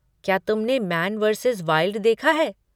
क्या तुमने Man versus Wild देखा है?